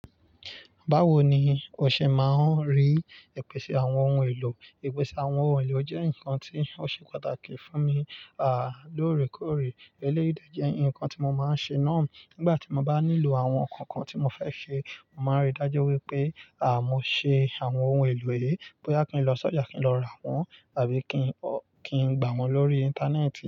Báwo ni o ṣe máa rí ìpèsè àwọn ohun èlò? Ìpèsè àwọn ohun èlò jẹ́ nǹkan tí ó ṣe pàtàkì fún mi, àlòrí kóòrí eléyìí jẹ́ ǹkan tí mo máa ń ṣe náà. Nígbà tí mo bá nílò àwọn ǹkan kan tí mo fẹ́ ṣe, màá rí i dájú wípé à mó ṣe àwọn ohun èlò è, bóyá kí n lọ sọ́jà kí n lọ rà wọ́n àbí kí n, kí n gbà wọ́n lórí Íńtánẹ́ẹ̀tì.